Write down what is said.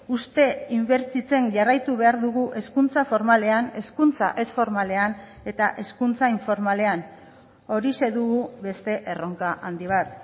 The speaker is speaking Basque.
uste inbertitzen jarraitu behar dugu hezkuntza formalean hezkuntza ez formalean eta hezkuntza informalean horixe dugu beste erronka handi bat